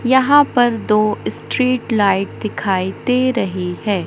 यहां पर दो स्ट्रीट लाइट दिखाई दे रही है।